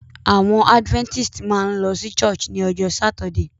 Àwon adventist máa n lo sí church ni ojó Saturday